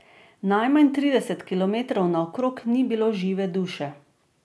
Najmanj trideset kilometrov naokrog ni bilo žive duše.